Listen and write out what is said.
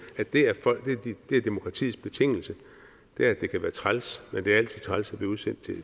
at det er demokratiets betingelser at det kan være træls men det er altid træls at blive udsendt